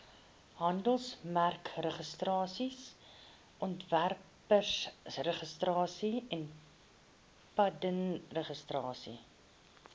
handelsmerkregistrasie ontwerpregistrasie patentregistrasie